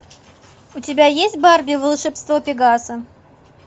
у тебя есть барби волшебство пегаса